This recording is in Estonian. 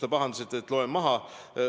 Te pahandasite, et ma loen maha.